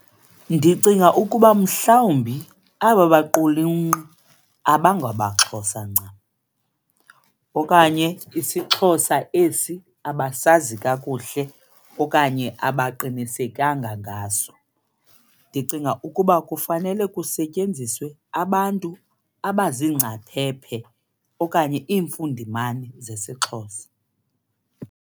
Ndicinga ukuba mhlawumbi aba baqulunqi abangamaXhosa ncam okanye isiXhosa esi abasazi kakuhle okanye abaqinisekanga ngaso. Ndicinga ukuba kufanele kusetyenziswe abantu abaziingcaphephe okanye iimfundimane zesiXhosa.